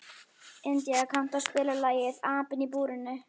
India, kanntu að spila lagið „Apinn í búrinu“?